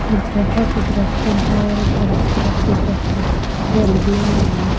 हर तरफ दरखत ही दरख्त है--